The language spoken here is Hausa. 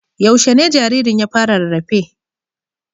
Yaushe ne jaririn ya fara rarrafe?